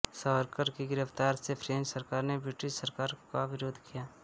सावरकर की गिरफ्तारी से फ़्रेंच सरकार ने ब्रिटिश सरकार का विरोध किया